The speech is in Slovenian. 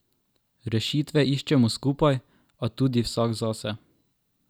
Rešitve iščemo skupaj, a tudi vsak zase.